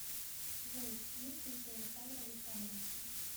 джой есть дети у александра александровича